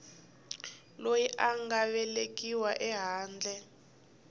loyi a nga velekiwa ehandle